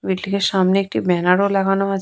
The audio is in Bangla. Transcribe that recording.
বিল্ডিং এর সামনে একটি ব্যানার ও লাগানো আছ--